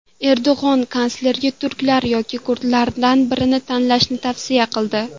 Erdo‘g‘on kanslerga turklar yoki kurdlardan birini tanlashni tavsiya qildi.